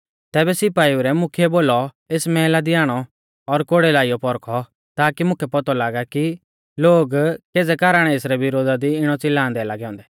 तैबै सिपाइउ रै मुख्यै बोलौ एस मैहला दी आणौ और कोड़ै लाइयौ पौरखौ ताकी मुकै पौतौ लागा कि लोग केज़ै कारण एसरै विरोधा दी इणौ च़िलांदै लागै औन्दै